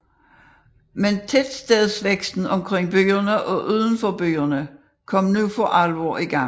Men tettstedsvæksten omkring byerne og uden for byerne kom nu for alvor i gang